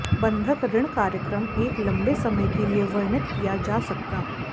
बंधक ऋण कार्यक्रम एक लंबे समय के लिए वर्णित किया जा सकता